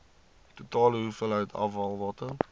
totale hoeveelheid afvalwater